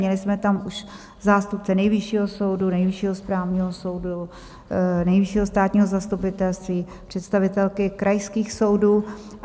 Měli jsme tam už zástupce Nejvyššího soudu, Nejvyššího správního soudu, Nejvyššího státního zastupitelství, představitelky krajských soudů.